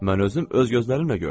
Mən özüm öz gözlərimlə gördüm.